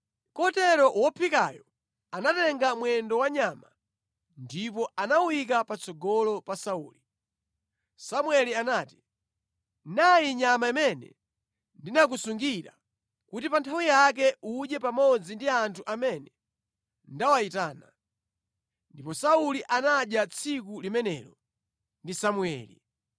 Kotero wophikayo anatenga mwendo wa nyama ndipo anawuyika patsogolo pa Sauli. Samueli anati “Nayi nyama imene ndinakusungira kuti pa nthawi yake udye pamodzi ndi anthu amene ndawayitana.” Ndipo Sauli anadya tsiku limenelo ndi Samueli.